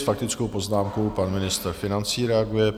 S faktickou poznámkou pan ministr financí reaguje.